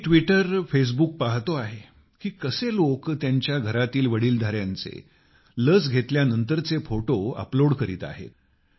मी ट्विटरफेसबुकवर पाहत आहे की कसे लोक त्यांच्या घराच्या वडीलधाऱ्यांचे लस घेतल्यानंतरचे फोटो अपलोड करीत आहेत